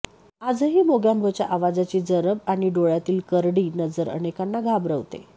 आजही मोगँबोच्या आवाजाची जरब आणि डोळ्यातली करडी नजर अनेकांना घाबरवते